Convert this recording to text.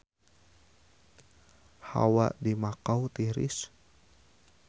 Hawa di Makau tiris